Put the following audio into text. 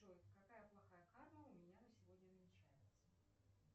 джой какая плохая карма у меня на сегодня намечается